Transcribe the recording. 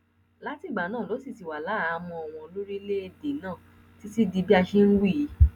látìgbà náà ló sì ti wà láhàámọ wọn lórílẹèdè náà títí di bá a ṣe ń wí yìí